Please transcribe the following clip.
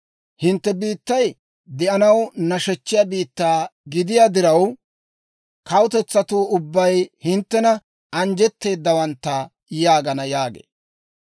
Hintte biittay de'anaw nashechchiyaa biittaa gidiyaa diraw, kawutetsatuu ubbay hinttena, ‹Anjjetteeddawantta› yaagana» yaagee.